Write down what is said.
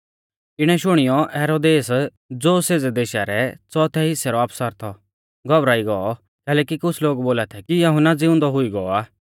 इणै शुणियौ हेरोदेस ज़ो सेज़ै देशा रै च़ोथै हिसै रौ आफसर थौ घौबरा ई गौ कैलैकि कुछ़ लोग बोला थै कि यहुन्ना ज़िउंदौ हुई गौ आ